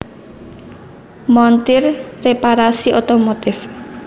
Montir / Reparasi Otomotif